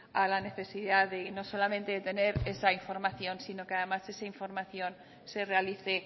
a la necesidad no solamente de tener esa información sino que además esa información se realice